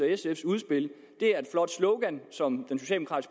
sfs udspil er et flot slogan som